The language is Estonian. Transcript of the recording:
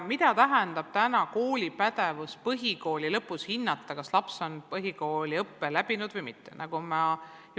Mida tähendab kooli pädevus põhikooli lõpus hinnata, kas laps on põhikooliõppe läbinud või mitte?